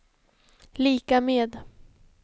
lika med